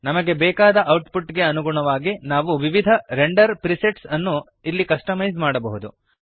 ನಮಗೆ ಬೇಕಾದ ಔಟ್ಪುಟ್ ಗೆ ಅನುಗುಣವಾಗಿ ನಾವು ವಿವಿಧ ರೆಂಡರ್ ಪ್ರಿಸೆಟ್ಸ್ ಅನ್ನು ಇಲ್ಲಿ ಕಸ್ಟಮೈಜ್ ಮಾಡಬಹುದು